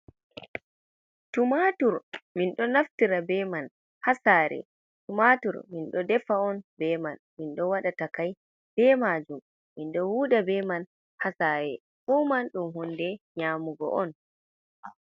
Tumaatur, min ɗo naftira be man ha saare, tumaatur min ɗo defa on be man, min ɗo waɗa takai be majum min ɗo huuda be man ha saare, fuu man ɗum hunde nyamugo on.